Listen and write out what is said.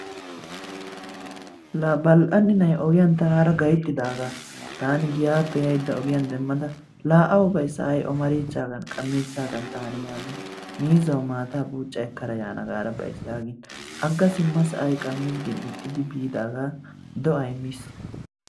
Laa Bal'anna nay ogiyan tanaara gayttidaagaa taani giyappe yayida ogiyan demmada la awa bay say ommarichchaagan qammichchaagan taani yaagin miizzawu maataa buucca ekkada yaana gar bays yaagin agga simma gin ixxidi biidaaga doay miis.